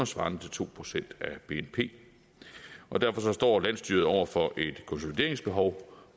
svarende til to procent af bnp og derfor står landsstyret over for et konsolideringsbehov